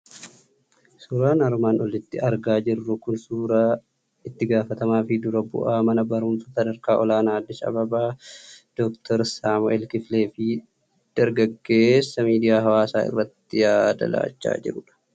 Suuraan armaan olitti argaa jirru kun suuraa itti gaafatamaa fi dura bu'aa mana barumsaa sadarkaa olaanaa Addis Ababaa Dooktar Saamu'el Kifilee fi dargaggeessa miidiyaa hawaasaa irratti yaada laachaa jiru dha.